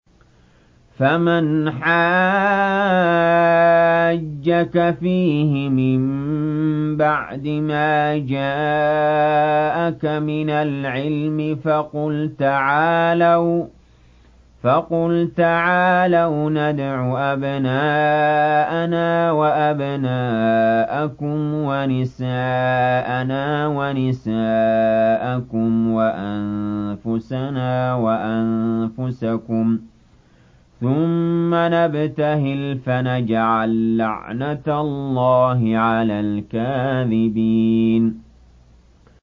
فَمَنْ حَاجَّكَ فِيهِ مِن بَعْدِ مَا جَاءَكَ مِنَ الْعِلْمِ فَقُلْ تَعَالَوْا نَدْعُ أَبْنَاءَنَا وَأَبْنَاءَكُمْ وَنِسَاءَنَا وَنِسَاءَكُمْ وَأَنفُسَنَا وَأَنفُسَكُمْ ثُمَّ نَبْتَهِلْ فَنَجْعَل لَّعْنَتَ اللَّهِ عَلَى الْكَاذِبِينَ